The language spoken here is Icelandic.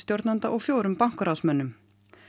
millistjórnanda og fjórum bankaráðsmönnum